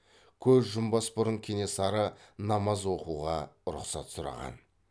көз жұмбас бұрын кенесары намаз оқуға рұқсат сұраған